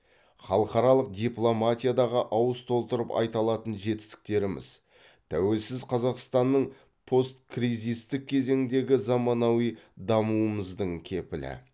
халықаралық дипломатиядағы ауыз толтырып айта алатын жетістіктеріміз тәуелсіз қазақстанның посткризистік кезеңдегі заманауи дамуымыздың кепілі